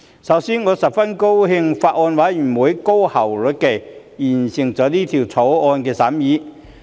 首先，我十分高興法案委員會高效率地完成《條例草案》的審議工作。